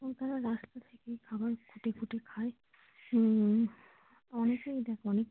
এবং তারা রাস্তা থেকেই খাবার খুটে খুটে খায় হম অনেকেই এটা করে ।